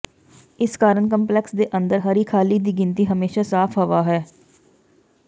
ਇਸ ਕਾਰਨ ਕੰਪਲੈਕਸ ਦੇ ਅੰਦਰ ਹਰੀ ਖਾਲੀ ਦੀ ਗਿਣਤੀ ਹਮੇਸ਼ਾ ਸਾਫ਼ ਹਵਾ ਹੈ